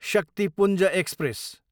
Shaktipunj express